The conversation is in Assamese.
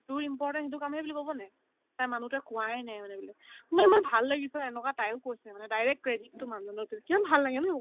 তোৰ important সেইটো কাম সেইবুলি ক'ব নে নাই তাইৰ মানুহতোয়ে কোৱাই নাই মানে বোলে মোৰ ইমান ভাল লাগিছে এনেকুৱা তাই কৈছে মানে মানে direct credit তো মানুহজনক দিছে কিমান ভাল লাগে ন